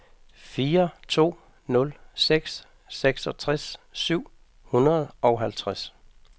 fire to nul seks seksogtres syv hundrede og halvtreds